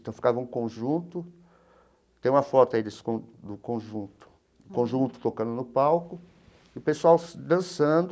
Então, ficava um conjunto... Tem uma foto aí desse con do conjunto, conjunto tocando no palco, e o pessoal dançando,